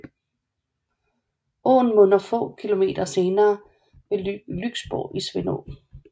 Åen munder få kilometer senere ved Lyksborg i Svendå